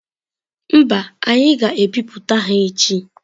Mba, anyị ga-ebipụta ha echi.